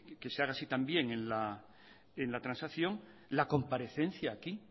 que se haga así también en la transacción la comparecencia aquí